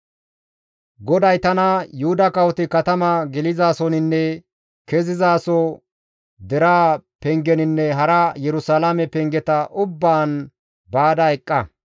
GODAY tana, «Yuhuda kawoti katama gelizaasoninne kezizaaso deraa pengeninne hara Yerusalaame pengeta ubbaan baada eqqa.